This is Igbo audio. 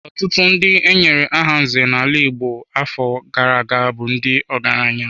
Ọtụtụ ndị e nyere aha nze n'ala Igbo afọ gara aga bụ ndị ọgaranya.